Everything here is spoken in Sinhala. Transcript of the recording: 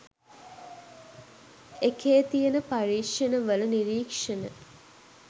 එකේ තියන පරීක්ෂණ වල නිරීක්ෂණ